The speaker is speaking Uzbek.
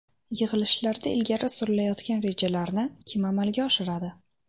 Yig‘ilishlarda ilgari surilayotgan rejalarni kim amalga oshiradi?